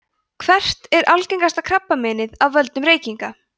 hvert er algengasta krabbameinið af völdum reykinga